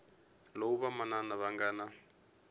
lowu vamanana va nga na